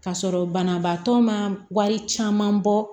Ka sɔrɔ banabaatɔ ma wari caman bɔ